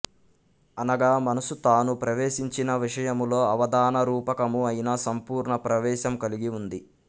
అనగా మనసు తాను ప్రవేశించిన విషయములో అవధాన రూపకము అయిన సంపూర్ణ ప్రవేశము కలిగి ఉంది